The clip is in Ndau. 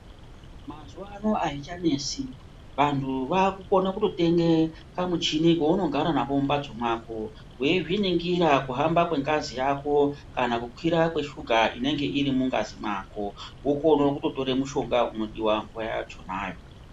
Mazuva ano azvicha nesi vanhu vaku kana kuto tenge pa muchini pauno gara napo mu mbatso weizvi ningira ku hamba kwe ngazi yako kana kukura kwe shuga inenge iri mungazi mako wokone kuto tora mushonga uno diwa nguva yachonayo.